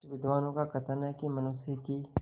कुछ विद्वानों का कथन है कि मनुष्य की